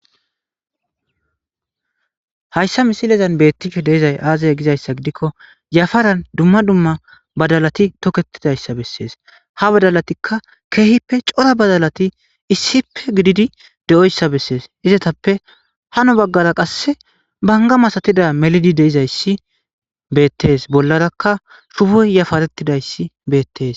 Hayssa misilezan beettishe de'izay aazaya gizayssa gidikko yafaran dumma dumma badalati toketidayssa bessees ha badalatikka keehippe cora badalati issippe gididi de7oyssa bessees izatappe hano baggara qasse banga masatida melidi deizayssi beettes bollarakka shuboy yafarettidayssi beettes.